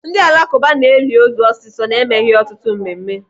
Ndị alakụba na-eli ozu ọsịsọ na-emeghị ọtụtụ mmemme.